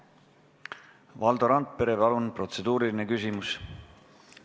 Valdo Randpere, palun, protseduuriline küsimus!